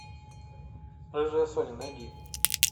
рыжая соня найди